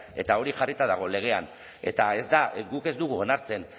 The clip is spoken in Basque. eta hori jarrita dago legean eta ez da guk ez dugu onartzen